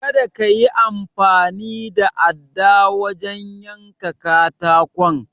Kada kayi amfani da adda wajen yanka katakon.